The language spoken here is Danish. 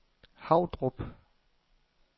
Havdrup